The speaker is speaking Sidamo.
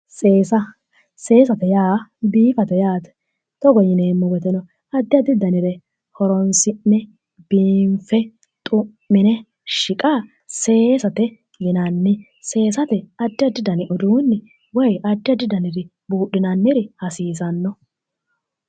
Seesa seesate yaa biifate yaate. togo yineemmo woteno addi addi danire horonsi'ne biinfe xu'mine shiqa seesate yinanni, seesate addi addi dani woyi addi addi daniri buudhinanniri hasiisanno.